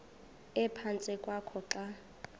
ephantsi kwakho xa